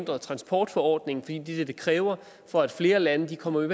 ændret transportforordningen fordi det er det der kræves for at flere lande kommer